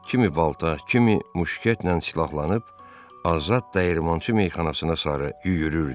Kimi balta, kimi muşketlə silahlanıb azad dəyirmançı meyxanasına sarı yüyürürdü.